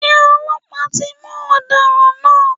Ṣé ọlọ́pàá ti mú ọ̀daràn náà?